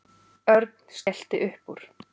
Örn skellti upp úr.